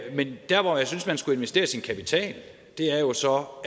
men dér hvor jeg synes man skulle investere sin kapital er jo så hvor